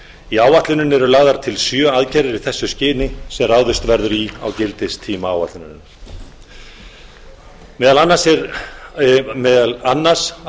í áætluninni eru lagðar til sjö aðgerðir í þessu skyni sem ráðist verður í á gildistíma áætlunarinnar meðal annars að